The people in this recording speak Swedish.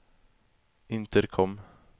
intercom